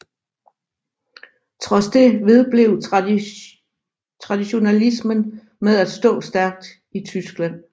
Trods det vedblev traditionalismen med at stå stærkt i Tyskland